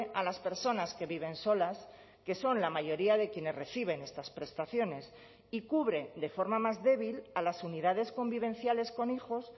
a las personas que viven solas que son la mayoría de quienes reciben estas prestaciones y cubre de forma más débil a las unidades convivenciales con hijos